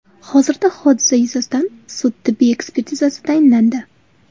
Hozirda hodisa yuzasidan sud-tibbiy ekspertizasi tayinlandi.